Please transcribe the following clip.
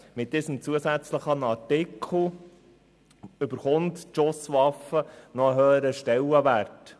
Mit dem zusätzlichen Artikel bekommt die Schusswaffe einen höheren Stellenwert.